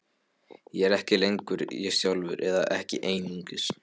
Ég er ekki lengur ég sjálfur, eða ekki einungis.